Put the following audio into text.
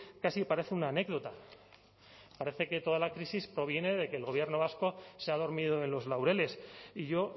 casi parece una anécdota parece que toda la crisis proviene de que el gobierno vasco se ha dormido en los laureles y yo